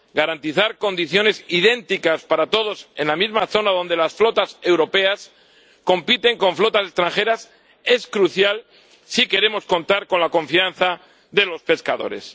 Garantizar condiciones idénticas para todos en la misma zona en que las flotas europeas compiten con flotas extranjeras es crucial si queremos contar con la confianza de los pescadores.